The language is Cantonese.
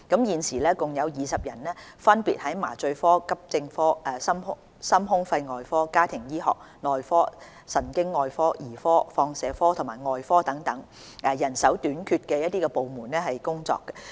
現時共有20人分別在麻醉科、急症科、心胸肺外科、家庭醫學、內科、神經外科、兒科、放射科及外科等人手短缺的部門工作。